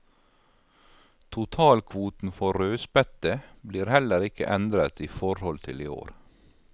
Totalkvoten for rødspette blir heller ikke endret i forhold til i år.